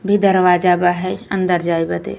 भी दरवाजा बा है अंदर जाये बदे।